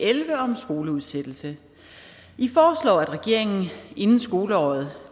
elleve om skoleudsættelse i foreslår at regeringen inden skoleåret